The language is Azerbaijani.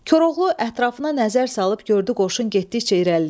Koroğlu ətrafına nəzər salıb gördü qoşun getdikcə irəliləyir.